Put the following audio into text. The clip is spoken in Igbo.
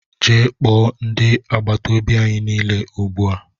Gee kpoo ndị agbataobi anyị niile ugbua!!!!